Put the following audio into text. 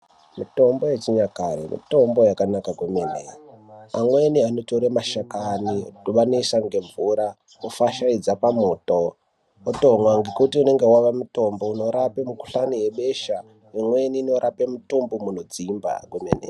Mitombo yechinyakare mitombo yakanaka kwemene amweni anotore mashakani wanosisa ngemvura wofachaidza pamwoto otomwa ngekuti unenge wawa mutombo unorape ngohlani yebehla imweni inorape ngohlani inodzimba.